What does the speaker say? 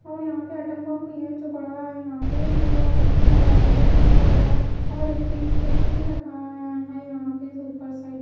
और यहां पे एटम बम भी है जो पड़ा है यहां पे जो और यहां पे मोबाइल नंबर भी लिख गया है और एक चीज फोटो भी लगाया यहां पे उपर साइड --